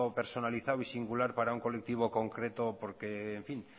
personalizado y singular para un colectivo concreto porque en fin